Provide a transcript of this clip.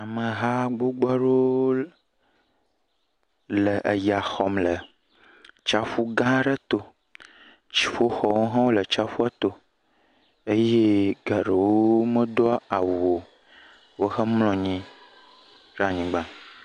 Ameha gbogbo aɖewo le eya xɔm le tsiaƒu gã aɖe to, dziƒoxɔwo hã le tsiaƒua to eye ke ɖewo medo awu o, wohemlɔ anyi ɖe anyigba.